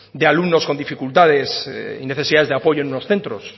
de alumnos con dificultades y necesidades de apoyo en unos centros